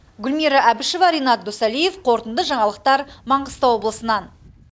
гүлмира әбішева ренат досалиев қорытынды жаңалықтар маңғыстау облысынан